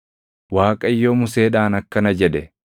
Waaqayyo Museedhaan akkana jedhe;